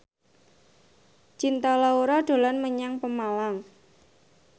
Cinta Laura dolan menyang Pemalang